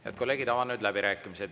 Head kolleegid, avan nüüd läbirääkimised.